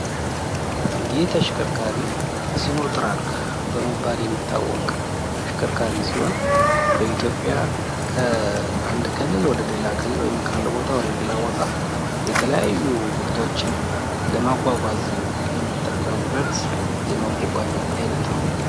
ይህ ተሽከርካሪ ሲኖትራክ በመባል የሚታወቅ ተሽከርካሪ ሲሆን በኢትዮጵያ ከአንድ ክልል ወደ አንድ ክልል ወይም ከአንድ ቦታ ወደሌላ ቦታ የተለያዩ ምርቶችን ለማጓጓዝ የምንጠቀምበት የመጓጓዣ አይነት ነው።